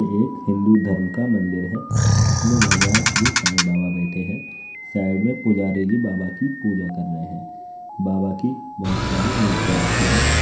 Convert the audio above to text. ये एक हिंदू धर्म का मंदिर है जिसमें भगवान श्री साईं बाबा बैठे हैं। साइड में पुजारी जी बाबा की पूजा कर रहे हैं। बाबा की बहुत सारी मूर्तियाँ रखीं हैं।